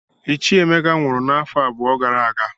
Ichie Emeka nwụrụ n'afọ abụọ gara aga